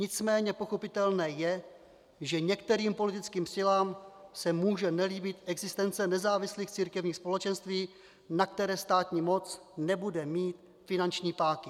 Nicméně pochopitelné je, že některým politickým silám se může nelíbit existence nezávislých církevních společenství, na které státní moc nebude mít finanční páky.